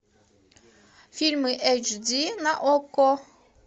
фильмы эйч ди на окко